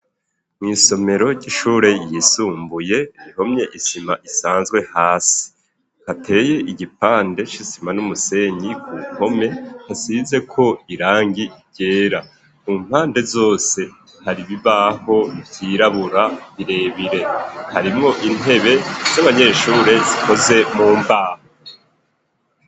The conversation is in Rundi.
Mw'isomero ry'ishure yisumbuye rihomye isima isanzwe hasi. Hateye igipande c'isima n'umusenyi ku mpome, hasizeko irangi ryera. Ku mpande zose hari ibibaho vyirabura birebire. Harimwo intebe z'abanyeshure zikoze mu mbaho.